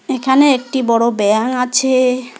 এখানে একটি বড়ো ব্যাঙ আছে।